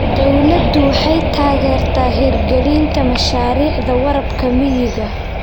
Dawladdu waxay taageertaa hirgelinta mashaariicda waraabka miyiga.